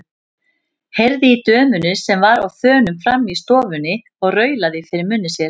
Heyrði í dömunni sem var á þönum frammi í stofunni og raulaði fyrir munni sér.